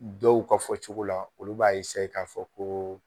Dɔw ka fɔ cogo la olu b'a k'a fɔ ko